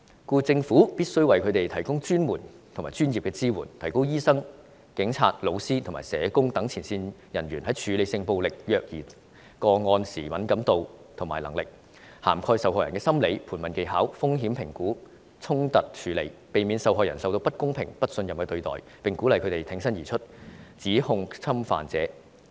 故此，政府必須為他們提供專門和專業的支援，提高醫生、警察、教師及社工等前線人員在處理性暴力及虐兒個案時的敏感度和能力，當中應涵蓋受害人的心理、盤問技巧、風險評估及衝突處理，避免受害人受到不公平和不信任的對待，並鼓勵他們挺身而出，指控侵犯者。